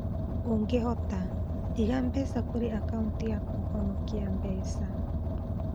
Ungĩhota, iga mbeca kũrĩ akauti ya kũhonokia mbeca.